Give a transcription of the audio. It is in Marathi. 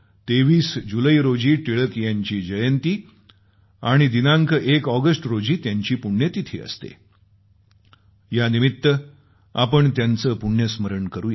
23 जुलै रोजी टिळक यांची जयंती आणि दिनांक 1 ऑगस्ट रोजी त्यांची पुण्यतिथी असते यानिमित्त आपण त्यांचं पुण्यस्मरण करूया